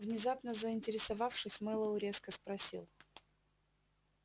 внезапно заинтересовавшись мэллоу резко спросил